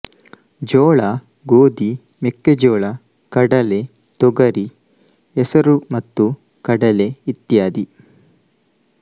ಜೋಳ ಗೋಧಿ ಮೆಕ್ಕೆಜೋಳ ಕಡಲೆ ತೊಗರಿ ಹೆಸರು ಮತ್ತು ಕಡಲೆ ಇತ್ಯಾದಿ